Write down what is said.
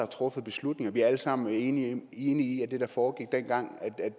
truffet beslutninger vi er alle sammen enige enige i at det der foregik dengang